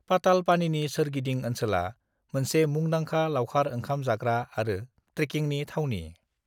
पातालपानीनि सोरगिदिं ओनसोला मोनसे मुंदांखा लाउखार ओंखाम जाग्रा आरो ट्रेकिंनि थावनि।